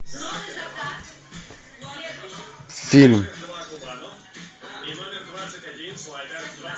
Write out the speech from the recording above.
фильм